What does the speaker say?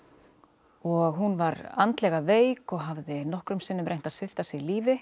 og hún var andlega veik og hafði nokkrum sinnum reynt að svipta sig lífi